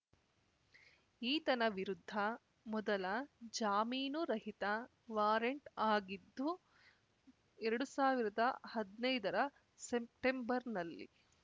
ಈತನ ವಿರುದ್ಧ ಮೊದಲ ಜಾಮೀನು ರಹಿತ ವಾರೆಂಟ್‌ ಆಗಿದ್ದು ಎರಡು ಸಾವಿರದ ಹದ್ನೈದರ ಸೆಪ್ಟೆಂಬರ್‌ನಲ್ಲಿ